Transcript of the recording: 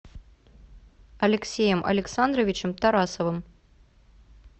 алексеем александровичем тарасовым